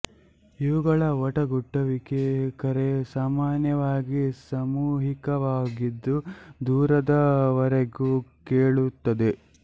ಇವುಗಳ ವಟಗುಟ್ಟವಿಕೆ ಕರೆ ಸಾಮಾನ್ಯವಾಗಿ ಸಾಮೂಹಿಕವಾಗಿದ್ದು ದೂರದ ವರೆಗೂ ಕೇಳುತ್ತದೆ